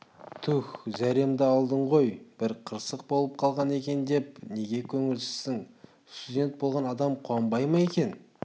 туһ зәремді алдың ғой бір қырсық болып қалған екен деп неге көңілсізсің студент болған адам қуанбай ма екен